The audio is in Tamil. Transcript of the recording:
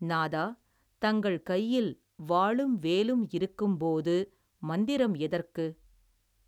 நாதா தங்கள் கையில் வாளும் வேலும் இருக்கும்போது மந்திரம் எதற்கு.